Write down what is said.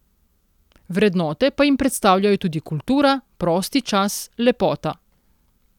Vrednote pa jim predstavljajo tudi kultura, prosti čas, lepota.